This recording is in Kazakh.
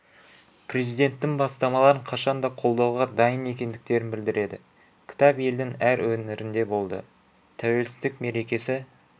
президенттің бастамаларын қашан да қолдауға дайын екендіктерін білдіреді кітап елдің әр өңірінде болды тәуелсіздік мерекесі